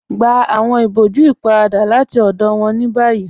Gbà awọn ìbọ̀jú ípáràdà láti ọdọ wọn ni bayí